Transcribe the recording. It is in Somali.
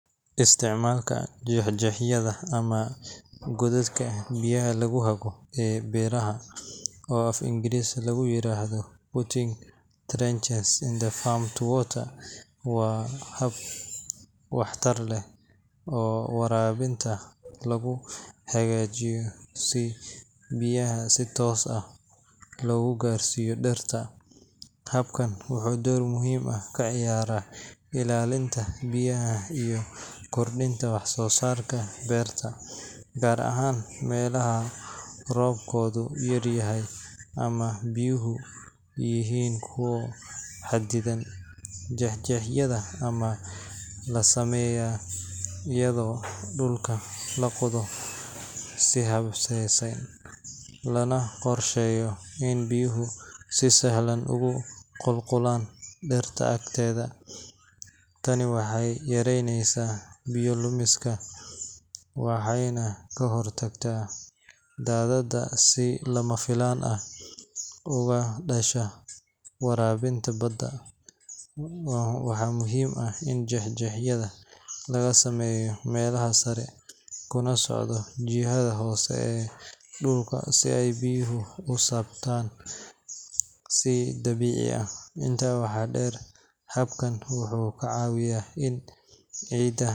Isticmaalka jeexjeexyada ama godadka biyaha lagu hago ee beeraha, oo af-Ingiriisi lagu yiraahdo putting trenches in the farm to water, waa hab waxtar leh oo waraabinta lagu hagaajiyo si biyaha si toos ah loogu gaarsiiyo dhirta. Habkan wuxuu door muhiim ah ka ciyaaraa ilaalinta biyaha iyo kordhinta wax-soosaarka beerta, gaar ahaan meelaha roobkoodu yaryahay ama biyuhu yihiin kuwo xaddidan. Jeexjeexyada waxaa la sameeyaa iyadoo dhulka la qodayo si habaysan, lana qorsheeyo in biyuhu si sahlan ugu qulqulaan dhirta agteeda. Tani waxay yareynaysaa biyo lumiska, waxayna ka hortagtaa daadad si lama filaan ah uga dhasha waraabinta badan. Waxaa muhiim ah in jeexjeexyada laga sameeyo meelaha sare kuna socdaan jihada hoose ee dhulka si ay biyuhu u siibtaan si dabiici ah. Intaa waxaa dheer, habkan wuxuu ka caawiyaa in ciidda.